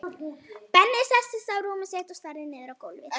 Benni settist á rúmið sitt og starði niður á gólfið.